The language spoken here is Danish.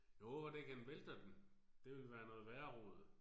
Jeg håber da ikke han vælter den. Det ville være noget værre rod